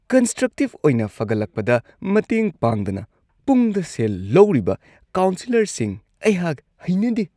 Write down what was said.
Constructive ꯑꯣꯏꯅ ꯐꯒꯠꯂꯛꯄꯗ ꯃꯇꯦꯡ ꯄꯥꯡꯗꯅ ꯄꯨꯡꯗ ꯁꯦꯜ ꯂꯧꯔꯤꯕ ꯀꯥꯎꯟꯁꯦꯂꯔꯁꯤꯡ ꯑꯩꯍꯥꯛ ꯍꯩꯅꯗꯦ꯫